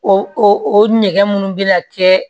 O o nɛgɛ munnu bɛ na kɛ